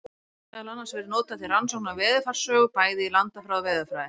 Þær hafa meðal annars verið notaðar til rannsókna á veðurfarssögu, bæði í landafræði og veðurfræði.